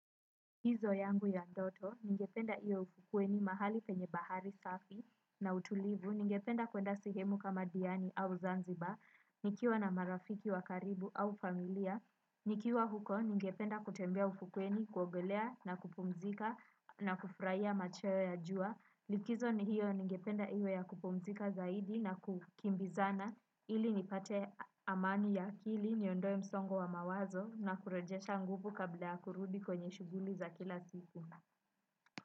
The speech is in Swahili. Likizo yangu ya ndoto, ningependa iwe ufukuweni mahali penye bahari safi na utulivu, ningependa kwenda sehemu kama diani au zanzibar, nikiwa na marafiki wakaribu au familia, nikiwa huko ningependa kutembea ufukuweni, kuogolea na kupumzika na kufurahia machweo ya jua, likizo ni hiyo ningependa iyo ya kupumzika zaidi na kukimbizana ili nipate amani ya akili niondoe msongo wa mawazo na kurejesha nguvu kabla ya kurudi kwenye shughuli za kila siku.